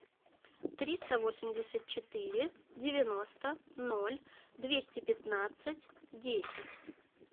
триста восемьдесят четыре девяносто ноль двести пятнадцать десять